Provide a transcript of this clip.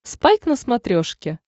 спайк на смотрешке